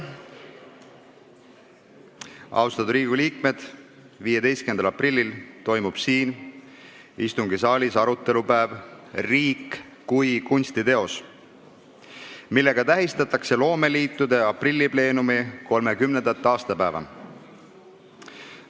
Austatud Riigikogu liikmed, 15. aprillil toimub siin istungisaalis arutelupäev "Riik kui kunstiteos", millega tähistatakse loomeliitude aprillipleenumi 30. aastapäeva.